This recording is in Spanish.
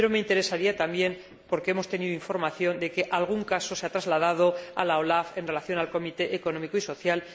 Pero me interesaría también, porque hemos tenido información de que algún caso se ha trasladado a la OLAF en relación con el Comité Económico y Social.